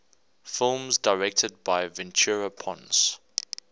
films directed by ventura pons